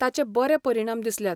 ताचे बरें परिणाम दिसल्यात.